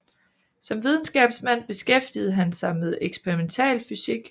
Som videnskabsmand beskæftigede han sig med eksperimental fysik